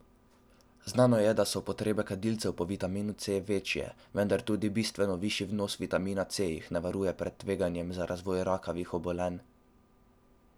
Znano je, da so potrebe kadilcev po vitaminu C bistveno večje, vendar tudi bistveno višji vnos vitamina C jih ne varuje pred tveganjem za razvoj rakavih obolenj.